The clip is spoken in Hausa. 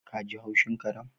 Ka ji haushin karen